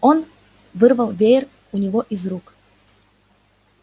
он вырвала веер у него из рук